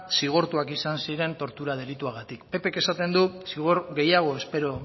zigortuak izan ziren tortura delituagatik ppk esaten du zigor gehiago espero